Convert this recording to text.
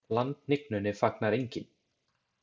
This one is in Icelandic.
Landhnignunni fagnar enginn.